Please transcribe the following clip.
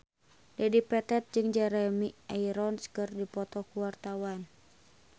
Dedi Petet jeung Jeremy Irons keur dipoto ku wartawan